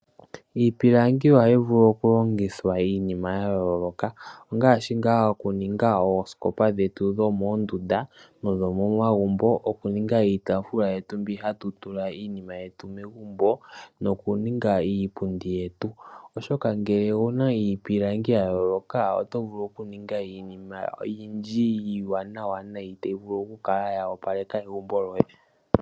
Iipilangi ohayi vulu oku longithwa iinima yayooloka ongaashi ngaa oku ninga oosikopa dhetu dhomoondunda, nosho momagumbo oku ninga iitaafula yetu yokutula iinima yetu megumbo noku ninga iipundi, oshoka ngele owuna iipilangi yayooloka oto vulu oku ninga iinima oyindji iiwanawa nayi tayi vulu oku kala wa opaleka egumbo lyoye.